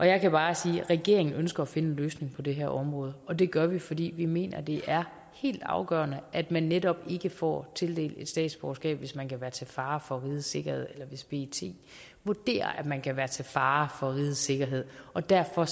jeg kan bare sige at regeringen ønsker at finde en løsning på det her område og det gør vi fordi vi mener det er helt afgørende at man netop ikke får tildelt et statsborgerskab hvis man kan være til fare for rigets sikkerhed eller hvis pet vurderer at man kan være til fare for rigets sikkerhed og derfor